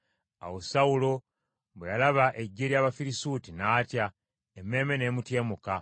Awo Sawulo bwe yalaba eggye ery’Abafirisuuti, n’atya, emmeeme n’emutyemuka.